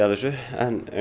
þessu